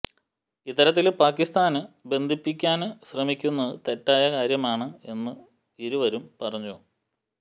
ഇത്തരത്തില് പാകിസ്താന് ബന്ധിപ്പിക്കാന് ശ്രമിക്കുന്നത് തെറ്റായ കാര്യമാണ് എന്ന് ഇരുവരും പറഞ്ഞു